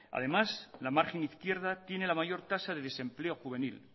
además la margen izquierda tiene la mayor tasa de desempleo juvenil